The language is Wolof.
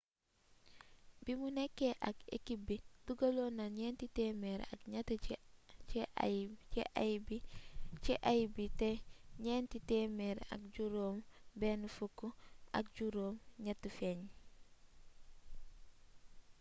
bimu nekké ak ekip bi dugalonna nienti temer ak niet ci ay bii té nienti temer ak jirom ben fuk ak jirom niet fegn